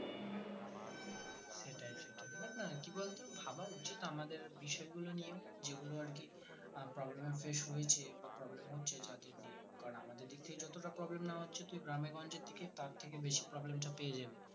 দেখ না কি বলতো ভাবা উচিত আমাদের বিষয়গুলো নিয়েও যেগুলো আরকি উম problem এ face হয়েছে বা problem হচ্ছে যা থেকে কারণ আমাদের দিক থেকে যতটা problem না হচ্ছে তুই গ্রামেগঞ্জের দিকে তার থেকে বেশি problem টা পেয়ে যাবি